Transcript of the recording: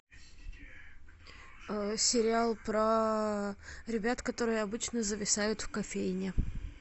сериал про ребят которые обычно зависают в кофейне